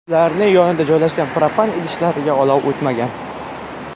Ularning yonida joylashgan propan idishlariga olov o‘tmagan.